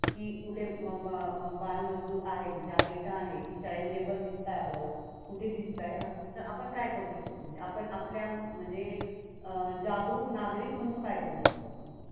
की कुठे बालमजूर आहे आता इथे आहे. Child labor दिसतात आपल्याला. कुठे दिसतात तर आपण काय करू शकतो? आपण आपल्या अं जागरूक नागरिक म्हणून काय करू शकतो?